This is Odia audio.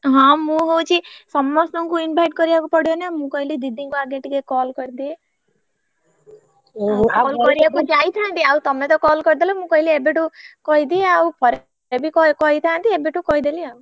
ହଁ ମୁ ହଉଛି ସମସ୍ତଙ୍କୁ invite କରିବାକୁ ପଡିବ ନା ମୁ କହିଲି ଦିଦିଙ୍କୁ ଆଗେ ଟିକେ call କରିଦିଏ call କରିଆକୁ ଯାଇଥାନ୍ତି ଆଉ ତମେ ତ call କରିଦେଲ ମୁ କହିଲି ଏବେଠୁ କହିଦିଏ ଆଉ ପରେ ବି କହିଥାନ୍ତି ଏବେଠୁ କହିଦେଲି ଆଉ।